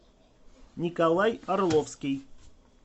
николай орловский